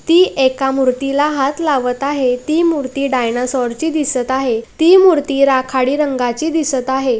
ती एका मूर्तीला हात लावत आहे ती मूर्ती डायनासोर ची दिसत आहे ती मूर्ती राखाडी रंगाची दिसत आहे.